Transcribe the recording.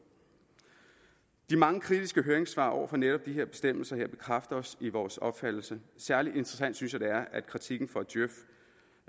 de mange kritiske høringssvar over for netop de her bestemmelser bekræfter os i vores opfattelse særlig interessant synes jeg at kritikken fra djøf